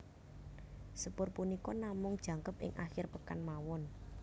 Sepur punika namung jangkep ing akhir pekan mawon